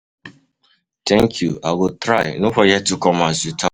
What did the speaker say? Thank you, i go try, no forget to come as you talk am.